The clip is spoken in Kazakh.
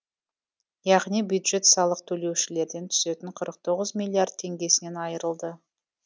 яғни бюджет салық төлеушілерден түсетін қырық тоғыз миллиард теңгесінен айырылды